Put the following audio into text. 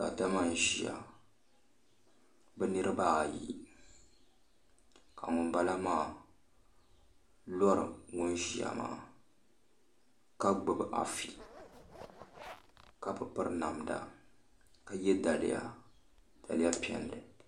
Daadama n ʒiya bi nirabaayi ka ŋunbala maa lori ŋun ʒiya maa ka gbubi afi ka bi piri namda ka yɛ daliya daliya piɛlli